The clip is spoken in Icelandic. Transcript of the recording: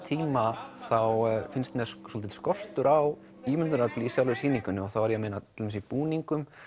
tíma þá finnst mér svolítill skortur á ímyndunarafli í sjálfri sýningunni þá er ég að meina til dæmis í búningum